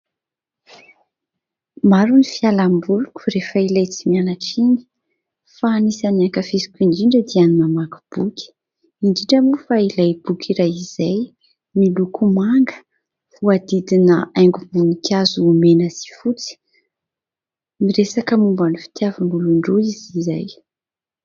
Maro ny fialamboloko rehefa ilay tsy mianatra iny ; fa anisan'ny ankafiziko indrindra dia ny mamaky boky ; indrindra moa fa ilay boky iray izay ; miloko manga voahodidina haingom-boninkazo mena sy fotsy. Miresaka momban'ny fitiavan'olon-droa izy izay.